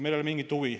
Meil ei ole mingit huvi.